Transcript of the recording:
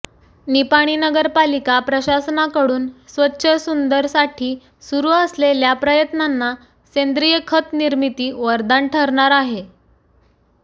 निपाणी नगरपालिका प्रशासनाकडून स्वच्छ सुंदरसाठी सुरू असलेल्या प्रयत्नांना सेंद्रिय खत निर्मिती वरदान ठरणार आहे